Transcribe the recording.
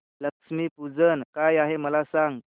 लक्ष्मी पूजन काय आहे मला सांग